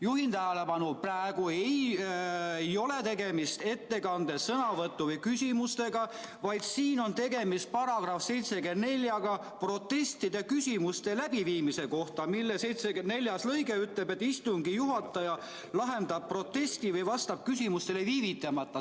Juhin tähelepanu, et praegu ei ole tegemist ettekande, sõnavõtu või küsimusega, vaid siin on tegemist §-ga 74, protestid ja küsimused läbiviimise kohta, mille neljas lõige ütleb, et istungi juhataja lahendab protesti või vastab küsimusele viivitamata.